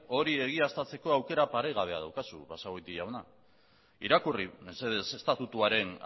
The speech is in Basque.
hori egiaztatzeko aukera paregabea daukazu basagoti jauna irakurri mesedez estatutuaren